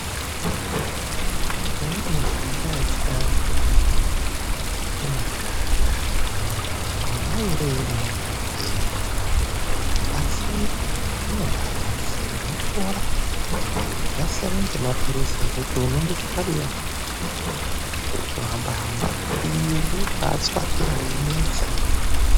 Imweni mishonga yechiantu hayi inoshanda. Mawawire einoita ukaimwa asi, zvinobaabatsira unopora .Zvasiyana nemapilizi ekuti unondoti kadiya, wotohamba hamba iyi unobaatswatira weimedza.